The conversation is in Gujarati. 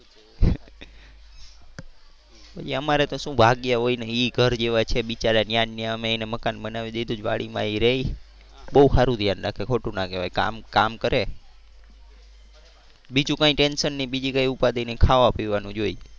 અમારે તો શું ભાગ્યા હોય ને એ ઘર જેવા છે. બિચારાં ત્યાં ને ત્યાં અમે એને મકાન બનાવી દીધું છે વાડી માં એ રહે. બહુ સારું ધ્યાન રાખે ખોટું ના કેવાય. કામ કામ કરે. બીજું કઈ ટેન્શન નહીં બીજું કઈ ઉપાદી નહીં ખાવા પીવાનું જોઈ.